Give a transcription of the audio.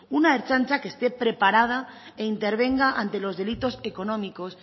una ertzaintza que esté preparada e intervenga ante los delitos económicos